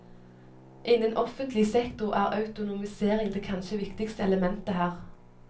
Innen offentlig sektor er autonomisering det kanskje viktigste elementet her.